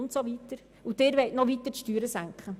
Und Sie wollen die Steuern weiter senken!